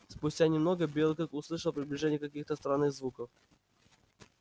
спустя немного белый клык услышал приближение каких то странных звуков